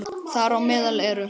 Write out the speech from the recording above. Þar á meðal eru